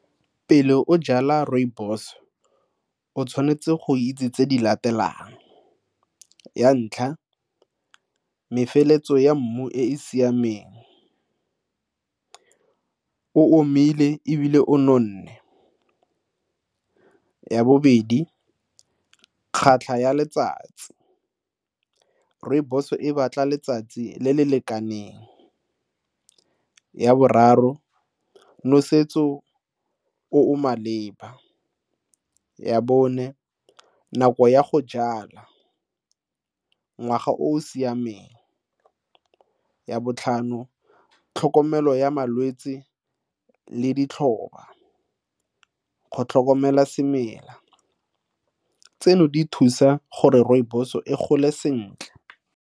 Pele o jala rooibos, o tshwanetse go itse tse di latelang. Ya ntlha, mefeletso ya mmu e e siameng, o omile ebile o nonne. Ya bobedi, kgatlha ya letsatsi, rooibos e batla letsatsi le le lekaneng. Ya boraro, nosetso o o maleba. Ya bone, nako ya go jala, ngwaga o o siameng. Ya botlhano, tlhokomelo ya malwetse le ditlhoba go tlhokomela semela. Tseno di thusa gore rooibos-o e gole sentle.